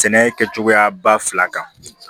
Sɛnɛ kɛcogoya ba fila kan